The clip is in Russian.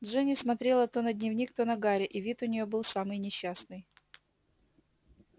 джинни смотрела то на дневник то на гарри и вид у неё был самый несчастный